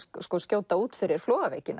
skjóta út fyrir